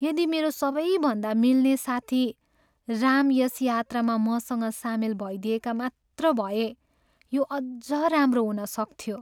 यदि मेरो सबैभन्दा मिल्ने साथी राम यस यात्रामा मसँग सामेल भइदिएका मात्र भए यो अझ राम्रो हुन सक्थ्यो।